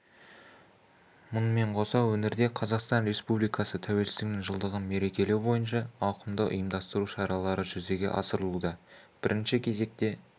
мұнымен қоса өңірде қазақстан республикасы тәуелсіздігінің жылдығын мерекелеу бойынша ауқымды ұйымдастыру шаралары жүзеге асырылуда бірінші кезекте